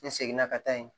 N seginna ka taa yen